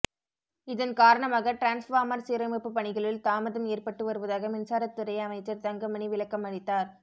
இதன் காரணமாக டிரான்ஸ்பார்மர் சீரமைப்பு பணிகளில் தாமதம் ஏற்பட்டு வருவதாக மின்சாரத்துறை அமைச்சர் தங்கமணி விளக்கம் அளித்தார்